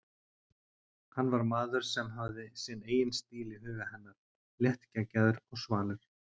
Hann var maður sem hafði sinn eigin stíl í huga hennar, léttgeggjaður og svalur.